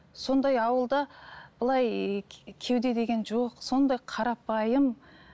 сондай ауылда былай кеуде деген жоқ сондай қарапайым